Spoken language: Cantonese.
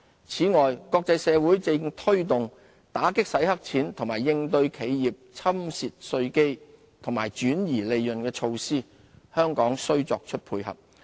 此外，國際社會正推動打擊洗黑錢和應對企業侵蝕稅基及轉移利潤的措施，香港須作出配合。